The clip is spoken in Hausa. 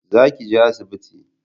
Za ki je asibiti